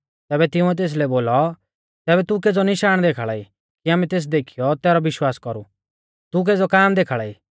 तैबै तिंउऐ तेसलै बोलौ तैबै तू केज़ौ निशाण देखाल़ाई कि आमै तेस देखीयौ तैरौ विश्वास कौरु तू केज़ौ काम देखाल़ाई